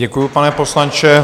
Děkuji, pane poslanče.